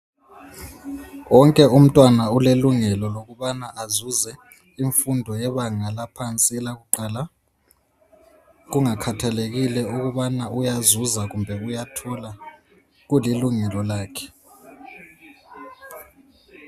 Wonke umntwana ulelungelo lokubana azuze imfundo yebanga laphansi elakuqala kungakhathelekile ukubana uyazuza kumbe uyathola kulilungelo lakhe.